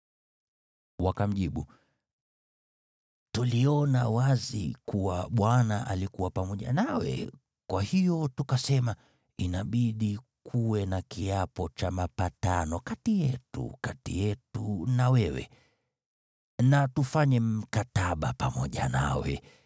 Wakamjibu, “Tuliona wazi kuwa Bwana alikuwa pamoja nawe, kwa hiyo tukasema, ‘Inabidi kuwe na kiapo cha mapatano kati yetu, kati yetu na wewe. Na tufanye mkataba pamoja nawe